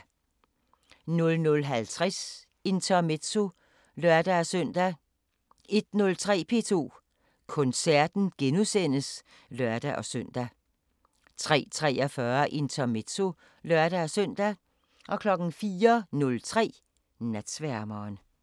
00:50: Intermezzo (lør-søn) 01:03: P2 Koncerten *(lør-søn) 03:43: Intermezzo (lør-søn) 04:03: Natsværmeren